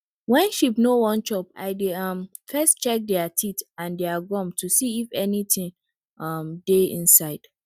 wen sheep no wan chop i dey um first check dere teeth and dere gum to see if anytin um dey inside